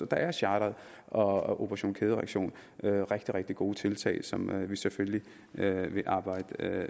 der er charteret og operation kædereaktion rigtig rigtig gode tiltag som vi selvfølgelig vil arbejde